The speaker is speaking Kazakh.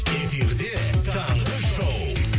эфирде таңғы шоу